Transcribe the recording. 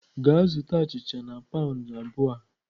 Gaa zụta achịcha na pound abụọ a!